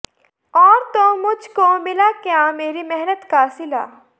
ਔਰ ਤੋਂ ਮੁੱਝ ਕੋ ਮਿਲਾ ਕਿਯਾ ਮੇਰੀ ਮਿਹਨਤ ਕਾ ਸਿਲਾ